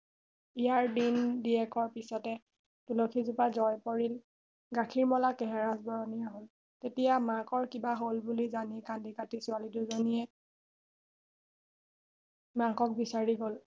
ইয়াৰ দিন দিয়েকৰ পিছতে তুলসী জোপা জয় পৰিল আৰু গাখীৰ মলা কেহেৰাজ বৰণীয়া হল তেতিয়া মাকৰ কিবা হল বুলি জানি কান্দি কাতি ছোৱালী দুজনিয়ে মাকক বিচাৰি গল